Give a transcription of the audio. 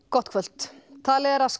gott kvöld talið er að